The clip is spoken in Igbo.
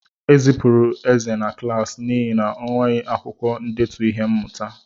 Ezipụrụ Eze na klaasị n'ihi na o nweghị akwukwo ndetu ihe mmụta.